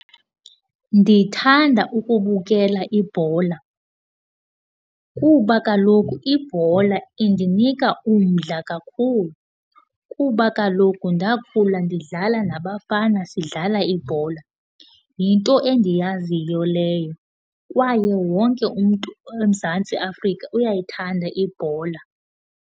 Ndithanda ukubukela ibhola kuba kaloku ibhola indinika umdla kakhulu kuba kaloku ndakhula ndidlala nabafana, sidlala ibhola. Yinto endiyaziyo leyo kwaye wonke umntu eMzantsi Afrika uyayithanda ibhola.